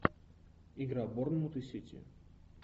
игра борнмут и сити